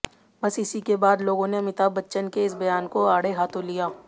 बस इसी के बाद लोगों ने अमिताभ बच्चन के इस बयान को आड़े हाथों लिया